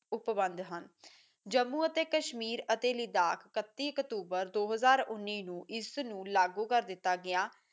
ਉਪਵਦ ਹਨ ਜੰਮੂ ਅਤੇ ਕਸ਼ਮੀਰ ਅਤੇ ਲਦਾਖ਼ ਇੱਕਤੀ ਅਕਤੂਬਰ ਦੋ ਹਜ਼ਾਰਉਨੀ ਨੂੰ ਇਸ ਨੂੰ ਲਾਗੂ ਕਰ ਦਿੱਤਾ ਗਿਆ